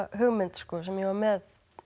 hugmynd sem ég var með